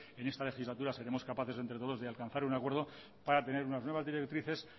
en esta legislatura seremos capaces de entre todos alcanzar algún acuerdo para tener unas nuevas directrices